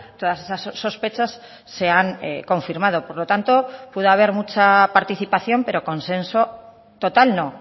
todas esas sospechas sean confirmado por lo tanto puede haber mucha participación pero consenso total no